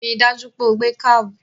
Ri dájú pé o gbé kábù!